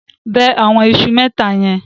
Bẹ àwọn iṣu mẹ́ta yẹn.